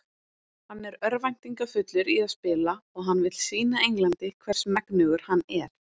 Hann er örvæntingarfullur í að spila og hann vill sýna Englandi hvers megnugur hann er.